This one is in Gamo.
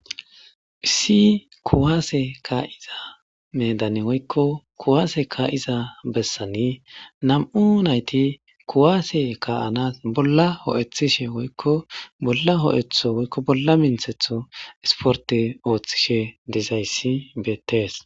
Issi kuwaase kaa;iza medane woykko kuwaase kaa'iza bessani nam;u nayti kuwaase kaa'anas bolla ho'ethishe woykko bolla ho'etho woykko bolla minthetho esporte ooththishe dizayssi beettees.